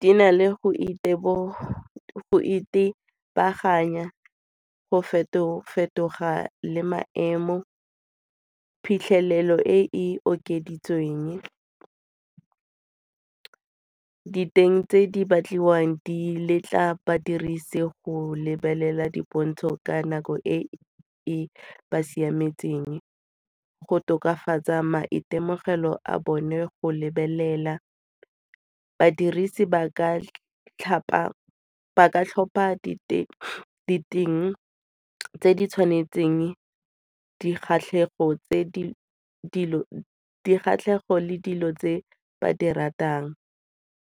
Di na le go itebaganya go feto-fetoga le maemo, phitlhelelo e e okeditsweng. Diteng tse di batliwang di letla badirisi go lebelela dipontsho ka nako e e siametseng. Go tokafatsa maitemogelo a bone go lebelela, badirisi ba ka tlhopha diteng tse di tshwanetseng dikgatlhego le dilo tse ba di ratang,